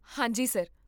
ਹਾਂ ਜੀ, ਸਰ